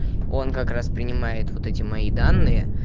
он как раз принимает вот эти мои данные